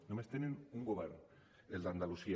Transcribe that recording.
només tenen un govern el d’andalusia